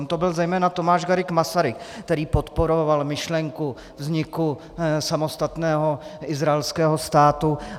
On to byl zejména Tomáš Garrigue Masaryk, který podporoval myšlenku vzniku samostatného izraelského státu.